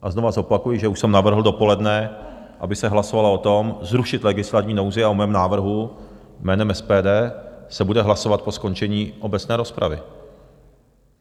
A znovu zopakuji, že už jsem navrhl dopoledne, aby se hlasovalo o tom, zrušit legislativní nouzi, a o mém návrhu jménem SPD se bude hlasovat po skončení obecné rozpravy.